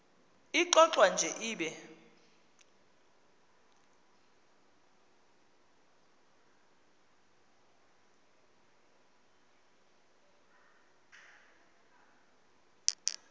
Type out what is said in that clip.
ixovwa nje ibe